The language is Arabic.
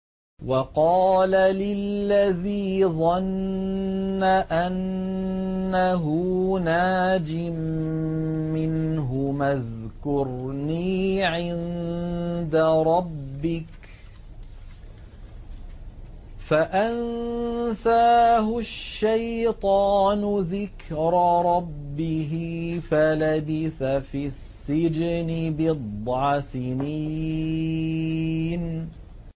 وَقَالَ لِلَّذِي ظَنَّ أَنَّهُ نَاجٍ مِّنْهُمَا اذْكُرْنِي عِندَ رَبِّكَ فَأَنسَاهُ الشَّيْطَانُ ذِكْرَ رَبِّهِ فَلَبِثَ فِي السِّجْنِ بِضْعَ سِنِينَ